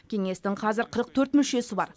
кеңестің қазір қырық төрт мүшесі бар